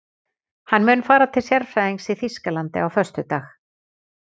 Hann mun fara til sérfræðings í Þýskalandi á föstudag.